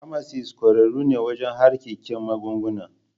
Famasis ƙwararru ne wajen harkikin magunguna.